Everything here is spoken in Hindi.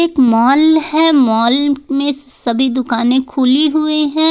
मॉल है मॉल में सभी दुकानें खुली हुई हैं।